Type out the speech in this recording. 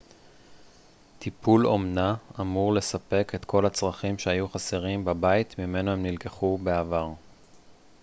טיפול אומנה אמור לספק את כל הצרכים שהיו חסרים בבית ממנו הם נלקחו בעבר